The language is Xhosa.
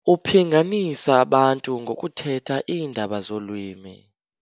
Uphinganisa abantu ngokuthetha iindaba zolwimi